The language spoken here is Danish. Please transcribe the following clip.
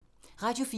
Radio 4